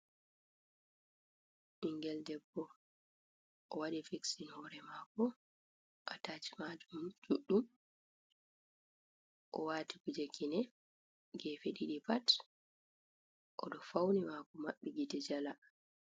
Ɓingel debbo o waɗi fiksin hore mako a tachi majum ɗuɗɗum, o wati kuje kine gefe ɗiɗi pat oɗo fauni mako mabɓi gite jala.